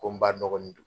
Ko n ba dɔgɔnin don